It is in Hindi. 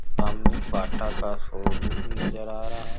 सामने बाटा का शोरूम नजर आ रहा --